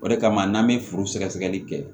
O de kama n'an be furu sɛgɛsɛgɛli kɛ